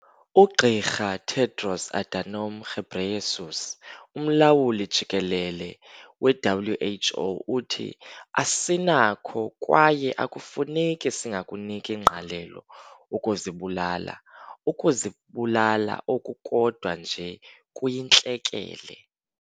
UGqr Tedros Adhanom Ghebreyesus, uMlawuli-Jikelele we-WHO uthi- "Asinakho kwaye akufuneki singakuniki ngqalelo ukuzibulala."Ukuzibulala oku kodwa nje kuyintlekele."